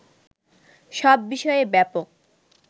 সব বিষয়েই ব্যাপক